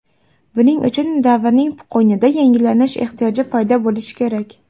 Buning uchun davrning qo‘ynida yangilanish ehtiyoji paydo bo‘lishi kerak.